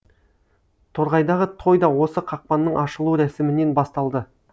торғайдағы той да осы қақпаның ашылу рәсімінен басталды